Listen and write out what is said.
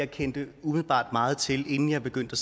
kendte meget til inden jeg begyndte